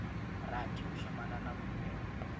rathi u shumana na khumbelo